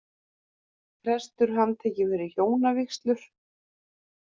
Prestur handtekinn fyrir hjónavígslur